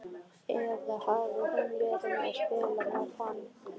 Eða hafði hún verið að spila með hann?